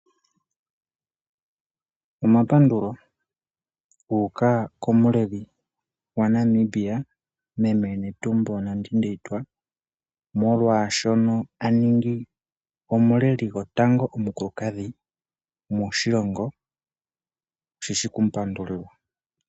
Omapandulo guuka komuleli gwaNamibia meme netumbo Nandi Ndeitwa molwaashono a ningi omuleli gwotango omukulukadhi oshishi okumupandulilwa.